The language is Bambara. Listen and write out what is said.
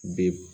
Bi